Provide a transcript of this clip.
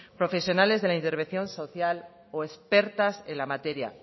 profesionales de la intervención social o expertas en la materia